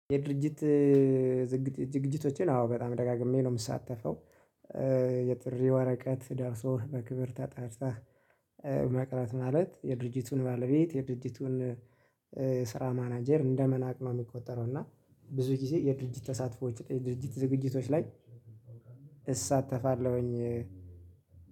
የድርጅት ዝግጅቶቼን አዎ በጣም ደጋግሜ ነው የምሳተፈው። የጥሪ ወረቀት ደርሶ በክብር ተጣርታ። መቅረት ማለት የድርጅቱን ባለቤት የድርጅቱን ስራ ማናጀር እንደመናቅ ነው የሚቆጠረው። እና ብዙ ጊዜ የድርጅት ተሳትፎዎች ድርጅት ዝግጅቶች ላይ እሳተፋለሁኝ።